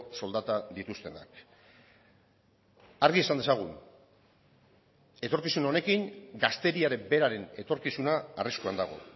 soldata dituztenak argi esan dezagun etorkizun honekin gazteriaren beraren etorkizuna arriskuan dago